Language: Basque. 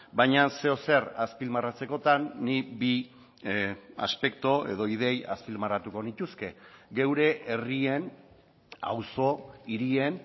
baina zeozer azpimarratzekotan nik bi aspektu edo ideia azpimarratuko nituzke geure herrien auzo hirien